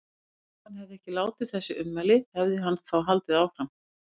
Ef hann hefði ekki látið þessi ummæli, hefði hann þá haldið áfram?